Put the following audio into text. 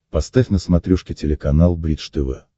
поставь на смотрешке телеканал бридж тв